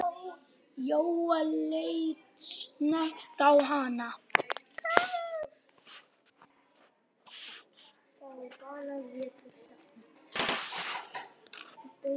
Jóel leit snöggt á hana.